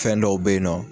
Fɛn dɔw be yen nɔ